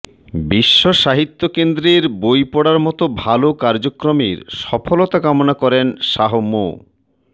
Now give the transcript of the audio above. বিশ্বসাহিত্য কেন্দ্রের বই পড়ার মতো ভালো কার্যক্রমের সফলতা কামনা করেন শাহ মো